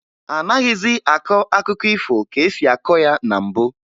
Anaghịzị akọ akụkọ ifo ka e si akọ ya na mbụ